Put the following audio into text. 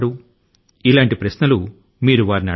అడగడానికి ఇటువంటి ప్రశ్న లు చాలానే ఉన్నాయి